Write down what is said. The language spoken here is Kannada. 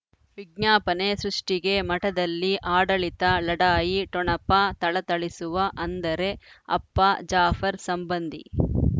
ವಿಜ್ಞಾಪನೆ ಸೃಷ್ಟಿಗೆ ಮಠದಲ್ಲಿ ಆಡಳಿತ ಲಢಾಯಿ ಠೊಣಪ ಥಳಥಳಿಸುವ ಅಂದರೆ ಅಪ್ಪ ಜಾಫರ್ ಸಂಬಂಧಿ